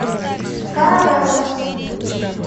каравелла